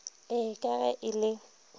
ee ka ge e le